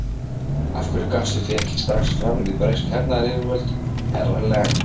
Af hverju gafstu þig ekki strax fram við bresk hernaðaryfirvöld, herra Lang?